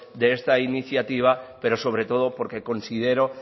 de esta iniciativa pero sobre todo porque considero